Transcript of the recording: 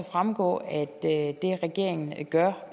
fremgå at det regeringen gør